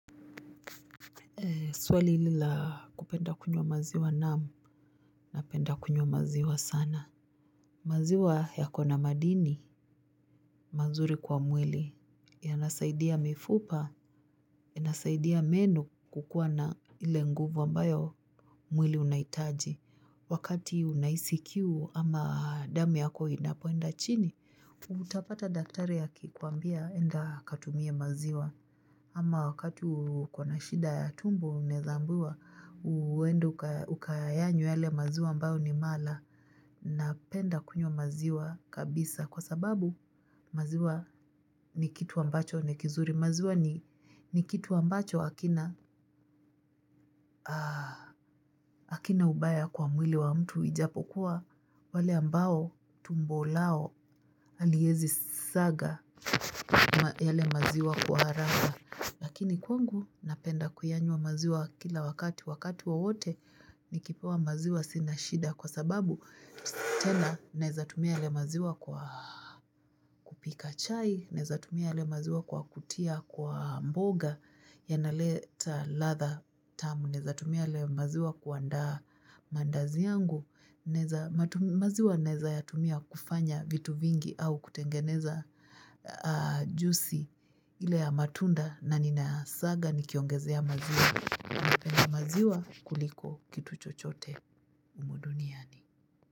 Swali hili la kupenda kunywa maziwa naam napenda kunywa maziwa sana. Maziwa yako na madini, mazuri kwa mwili. Yanasaidia mifupa, yanasaidia meno kukuwa na ile nguvu ambayo mwili unahitaji. Wakati unahisi kiu ama damu yako inapoenda chini. Utapata daktari aki kuambia enda katumie maziwa. Ama wakati uko na shida ya tumbo unaeza ambiwa uendr ukayanywe yale maziwa ambayo ni mala napenda kunywa maziwa kabisa kwa sababu maziwa ni kitu ambacho ni kizuri maziwa ni kitu ambacho hakina. Hakina ubaya kwa mwili wa mtu ijapokuwa wale ambao tumbo lao haliwezi saga yale maziwa kwa haraka. Lakini kwangu napeda kuyanywa maziwa kila wakati wakati wowote nikipewa maziwa sina shida kwa sababu tena naeza tumia yale maziwa kwa kupika chai, naeza tumia yale maziwa kwa kutia kwa mboga yanaleta ladha tamu, naeza tumia yale maziwa kuandaa mandazi yangu, maziwa naeza ya tumia kufanya vitu vingi au kutengeneza juisi ile ya matunda na nina saga ni kiongezea maziwa napenda maziwa kuliko kitu chochote humu duniani.